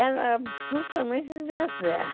Era absolutamente deserto.